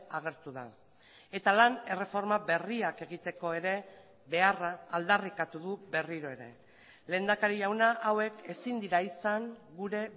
agertu da eta lan erreforma berriak egiteko ere beharra aldarrikatu du berriro ere lehendakari jauna hauek ezin dira izan gure